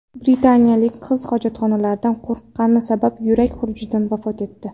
Britaniyalik qiz hojatxonalardan qo‘rqqani sabab yurak xurujidan vafot etdi.